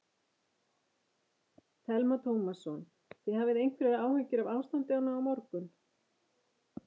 Telma Tómasson: Þið hafið einhverjar áhyggjur af ástandinu á morgun?